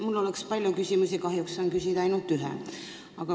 Mul oleks palju küsimusi, aga kahjuks saan küsida ainult ühe.